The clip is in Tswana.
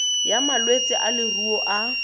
ya malwetse a leruo a